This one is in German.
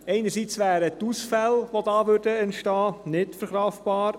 Einerseits wären die Ausfälle, die dadurch entstünden, nicht verkraftbar.